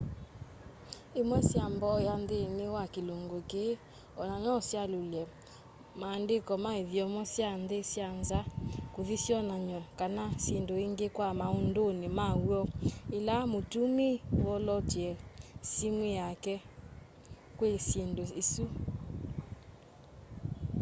ĩmwe sya mboya nthĩnĩ wa kĩlungu kĩĩ ona no syalyule maandĩko ma ithyomo sya nthi sya nza kuthi syonany'o kana syindu ingĩ kwa maũndũnĩ ma w'o ila mutumii wolootelya simu yake kwi syindu isu